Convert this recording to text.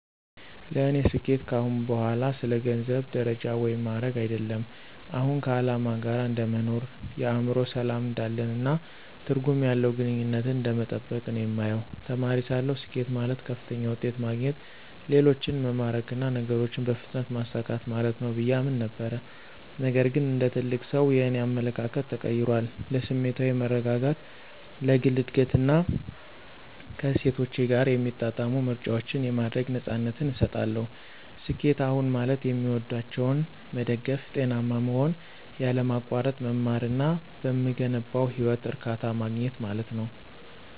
ለእኔ ስኬት ከአሁን በኋላ ስለ ገንዘብ፣ ደረጃ ወይም ማዕረግ አይደለም። አሁን ከዓላማ ጋር እንደ መኖር፣ የአእምሮ ሰላም እንዳለን፣ እና ትርጉም ያለው ግንኙነትን እንደመጠበቅ ነው የማየው። ተማሪ ሳለሁ፣ ስኬት ማለት ከፍተኛ ውጤት ማግኘት፣ ሌሎችን መማረክ እና ነገሮችን በፍጥነት ማሳካት ማለት ነው ብዬ አምን ነበር። ነገር ግን እንደ ትልቅ ሰው, የእኔ አመለካከት ተቀይሯል. ለስሜታዊ መረጋጋት፣ ለግል እድገት እና ከእሴቶቼ ጋር የሚጣጣሙ ምርጫዎችን የማድረግ ነፃነትን እሰጣለሁ። ስኬት አሁን ማለት የሚወዷቸውን መደገፍ፣ ጤናማ መሆን፣ ያለማቋረጥ መማር እና በምገነባው ህይወት እርካታ ማግኘት ማለት ነው።